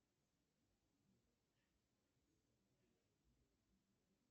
салют среднее расстояние между нептуном и солнцем